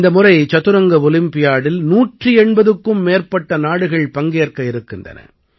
இந்த முறை சதுரங்க ஒலிம்பியாடில் 180க்கும் மேற்பட்ட நாடுகள் பங்கேற்க இருக்கின்றன